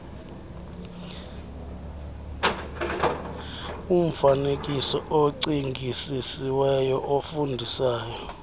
umfaneekiso ocingisisiweyo ofundisayo